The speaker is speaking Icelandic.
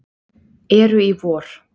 eru í vor.